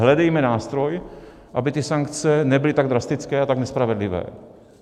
Hledejme nástroj, aby ty sankce nebyly tak drastické a tak nespravedlivé.